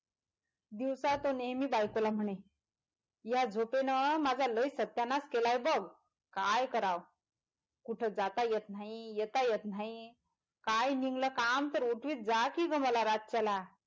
दिवसा तो नेहमी बायकोला म्हणे या झोपेन माझा लय सत्यानाश केलाय बाग काय करावं? कुठं जाता येत नाही येत येत न्हायी काय निघालं काम तर उठवीत जा कि ग मला रातच्याला.